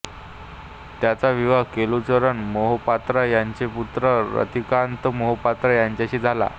त्यांचा विवाह केलुचरण मोहपात्रा ह्यांचे पुत्र रतिकांत मोहपात्रा ह्यांच्याशी झाला